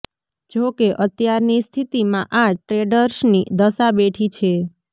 જો કે અત્યારની સ્થિતિમાં આ ટ્રેડર્સની દશા બેઠી છે